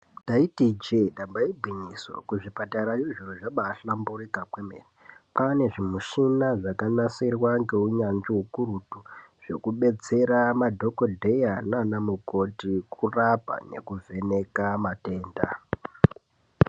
Ndaiti ijee damba igwinyiso kuzvipatarayo zviro zvabaahlamburika kwemene kwane zvimichina zvakanasirwa ngehunyanzvi hukurutu zvekubatsera madhokoteya nana mukoti kurapa nekuvheneka matenda .